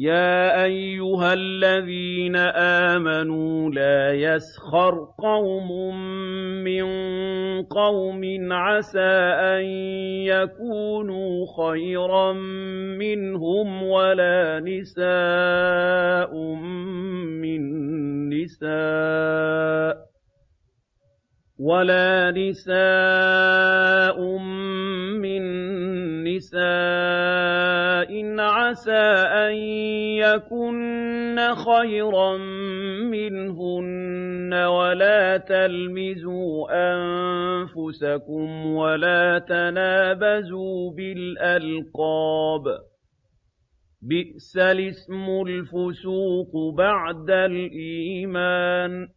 يَا أَيُّهَا الَّذِينَ آمَنُوا لَا يَسْخَرْ قَوْمٌ مِّن قَوْمٍ عَسَىٰ أَن يَكُونُوا خَيْرًا مِّنْهُمْ وَلَا نِسَاءٌ مِّن نِّسَاءٍ عَسَىٰ أَن يَكُنَّ خَيْرًا مِّنْهُنَّ ۖ وَلَا تَلْمِزُوا أَنفُسَكُمْ وَلَا تَنَابَزُوا بِالْأَلْقَابِ ۖ بِئْسَ الِاسْمُ الْفُسُوقُ بَعْدَ الْإِيمَانِ ۚ